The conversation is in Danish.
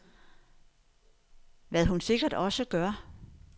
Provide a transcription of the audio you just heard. Hvad hun sikkert også gør.